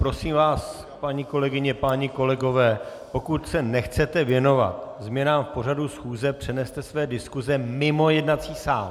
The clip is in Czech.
Prosím vás, paní kolegyně, páni kolegové, pokud se nechcete věnovat změnám v pořadu schůze, přeneste své diskuse mimo jednací sál!